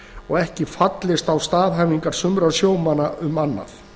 og ekki fallist á staðhæfingar sumra sjómanna um annað